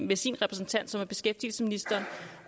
ved sin repræsentant som er beskæftigelsesministeren